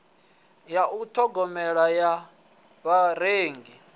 ya u ṱhogomela ya vharengi